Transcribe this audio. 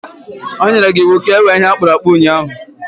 O nyere gi iwu ka ewee ihe a kpụrụ akpụ ụnyahụ